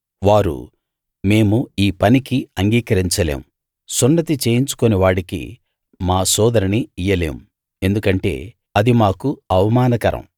వారు మేము ఈ పనికి అంగీకరించలేం సున్నతి చేయించుకోని వాడికి మా సోదరిని ఇయ్యలేము ఎందుకంటే అది మాకు అవమానకరం